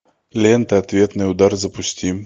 лента ответный удар запусти